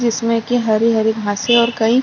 जिसमे की हरी-हरी घाँसे और कई--